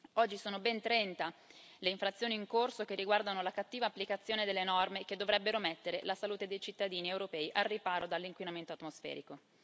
Oggi sono ben 30 le infrazioni in corso che riguardano la cattiva applicazione delle norme che dovrebbero mettere la salute dei cittadini europei al riparo dall'inquinamento atmosferico.